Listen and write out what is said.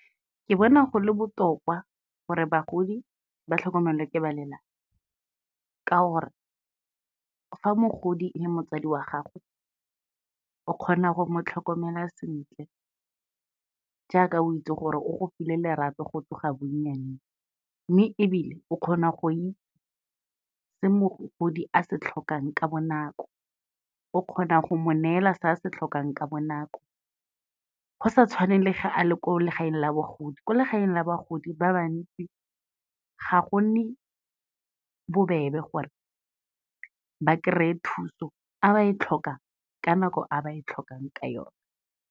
Ke bona go le gore bagodi ba tlhokomelwe ke ba lelapa, ka gore fa mogodi e le motsadi wa gago o kgona go mo tlhokomela sentle, jaaka o itse gore o go file lerato go tloga bonnyaneng, mme ebile o kgona go itse mogodi se a se tlhokang ka bonako, o kgonang go mo neela se a se tlhokang ka bonako. Go sa tshwaneng le ge a le ko legaeng la bogodi, ko legaeng la bagodi ba bantsi, ga gonne bobebe gore ba kry-e thuso fa ba e tlhoka ka nako a ba e tlhokang ka yona.